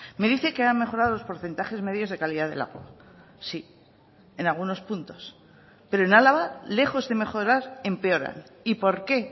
me dice que ha mejorado los porcentajes medios de calidad del agua sí en algunos puntos pero en álava lejos de mejorar empeoran y por qué